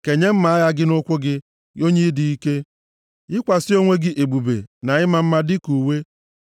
Kenye mma agha gị nʼukwu gị, gị onye dị ike; yikwasị onwe gị ebube na ịma mma dịka uwe.